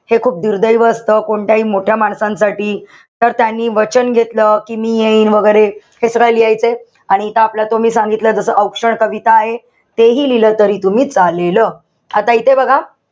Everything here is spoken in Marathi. हे खूप दुर्दैव असत. कोणत्याही मोठ्या माणसांसाठी. तर त्यांनी वचन घेतलं कि मी येईन वैगेरे. हे सगळं लिहायचंय. आणि इथं आपल्याला तुम्ही सांगितलं जसं औक्षण कविता आहे तेही तुम्ही लिहिलं तरी चालेल. आता इथे बघा.